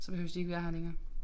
Så behøves de ikke være her længere